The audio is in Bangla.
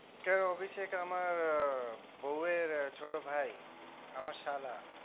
কেন অভিষেক আমার বউয়ের ছোট ভাই আমার শালা